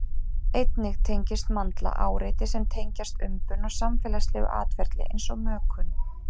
Einnig tengist mandla áreiti sem tengjast umbun og samfélagslegu atferli eins og mökun.